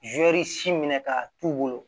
si minɛ k'a t'u bolo